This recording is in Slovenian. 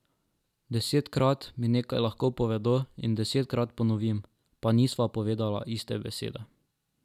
Desetkrat mi nekaj lahko povedo in desetkrat ponovim, pa nisva povedala iste besede.